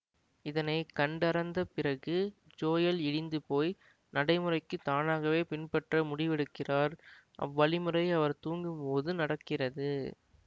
இதனை கண்டறந்தப் பிறகு ஜோயல் இடிந்து போய் நடைமுறைக்கு தானாகவே பின்பற்ற முடிவெடுக்கிறார் அவ்வழிமுறை அவர் தூங்கும் போது நடக்கிறது